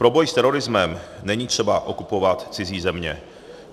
Pro boj s terorismem není třeba okupovat cizí země.